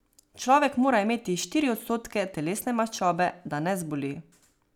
Človek mora imeti štiri odstotke telesne maščobe, da ne zboli.